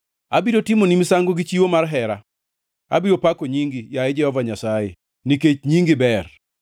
Abiro timoni misango gi chiwo mar hera; abiro pako nyingi, yaye Jehova Nyasaye, nikech nyingi ber.